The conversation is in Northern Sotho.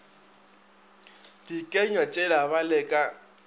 dikenywa tšela ba le ka